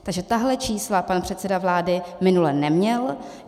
Takže tahle čísla pan předseda vlády minule neměl.